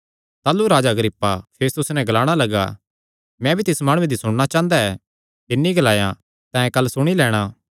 ताह़लू राजा अग्रिप्पा फेस्तुसे नैं ग्लाणा लग्गा मैं भी तिस माणुये दी सुणना चांह़दा ऐ तिन्नी ग्लाया तैं कल सुणी लैणां